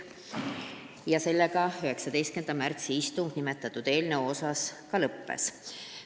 Sellega 19. märtsi istungil nimetatud eelnõu arutelu lõppes.